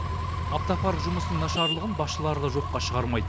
автопарк жұмысының нашарлығын басшылары да жоққа шығармайды